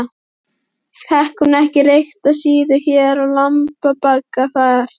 Fékk hún ekki reykta síðu hér og lundabagga þar?